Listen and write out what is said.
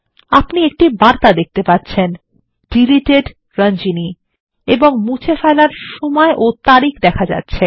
আপনি একটি বার্তা দেখতে পাচ্ছেন ডিলিটেড Ranjani এবং মুছে ফেলার সময় ও তারিখ দেখা যাচ্ছে